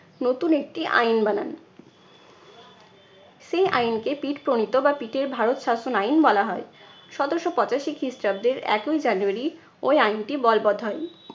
নতুন একটি আইন বানান। সেই আইনকে পিট প্রণীত বা পিটের ভারত শাসন আইন বলা হয়। সতেরশো পঁচাশি খ্রিস্টাব্দের একই জানুয়ারি ওই আইনটি বলবৎ হয়।